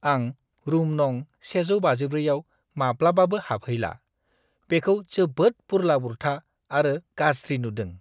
आं रुम नं. 154 आव माब्लाबाबो हाबहैला, बेखौ जोबोद बुरला-बुरथा आरो गाज्रि नुदों।